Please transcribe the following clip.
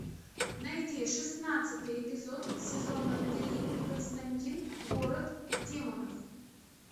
найди шестнадцатый эпизод сезона три константин город демонов